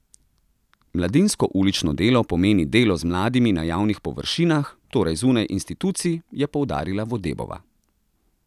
Mladinsko ulično delo pomeni delo z mladimi na javnih površinah, torej zunaj institucij, je poudarila Vodebova.